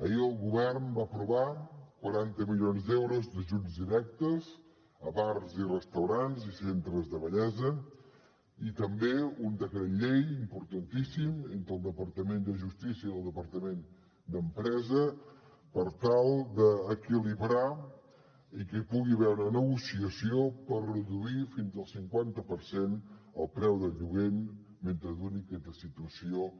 ahir el govern va aprovar quaranta milions d’euros d’ajuts directes a bars i restaurants i centres de bellesa i també un decret llei importantíssim entre el departament de justícia i el departament d’empresa per tal d’equilibrar i que hi pugui haver una negociació per reduir fins al cinquanta per cent el preu del lloguer mentre duri aquesta situació